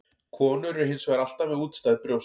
Konur eru hins vegar alltaf með útstæð brjóst.